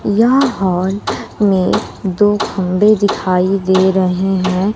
यह हॉल में दो खम्बे दिखाई दे रहे हैं।